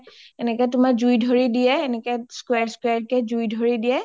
এনেকে তোমাৰ জুই ধৰি দিয়ে এনেকে square square কে জুই ধৰি দিয়ে